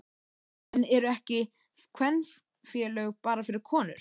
En eru ekki kvenfélög bara fyrir konur?